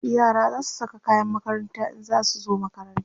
yara zasu Saka kayan makaranta in zasu zo makaranta